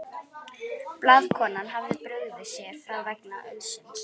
Blaðakonan hafði brugðið sér frá vegna ölsins.